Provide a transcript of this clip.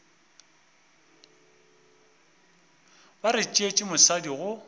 ba re tšeetše mosadi go